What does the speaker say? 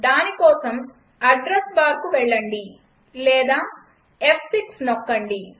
దానికోసం అడ్రస్ బార్కు వెళ్లండి లేదా ఫ్6 నొక్కండి